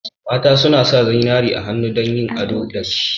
Mata suna sa zinariya a hannu dan yin ado dashi.